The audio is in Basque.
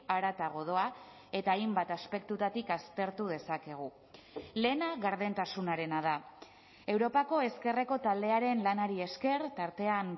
haratago doa eta hainbat aspektutatik aztertu dezakegu lehena gardentasunarena da europako ezkerreko taldearen lanari esker tartean